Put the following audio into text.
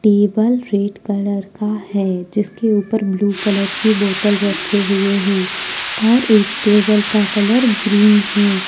Table red colour का है जिसके उपर ब्लू कलर के बोतल रखे हुए हैं और एक टेबल का कलर ग्रीन है।